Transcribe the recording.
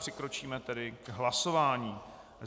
Přikročíme tedy k hlasování.